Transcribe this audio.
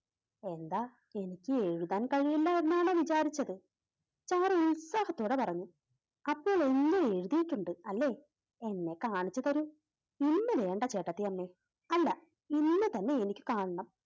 എന്താ എനിക്ക് എഴുതാൻ കഴിയില്ല എന്നാണോ വിചാരിച്ചത്, സാറ ഉത്സഹത്തോടെ പറഞ്ഞു അപ്പോൾ എല്ലാം എഴുതിയിട്ടുണ്ട് അല്ലേ? എന്നെ കാണിച്ചു തരൂ ഇന്ന് വേണ്ട ചേട്ടത്തിയമ്മേ അല്ല ഇന്ന് തന്നെ എനിക്ക് കാണണം.